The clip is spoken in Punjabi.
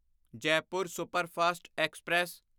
Jaipur superfast express